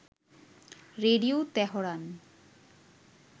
radio Tehran